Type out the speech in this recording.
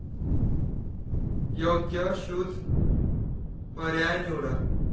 योग्य शूज पर्याय निवडा.